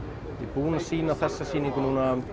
búinn að sýna þessa sýningu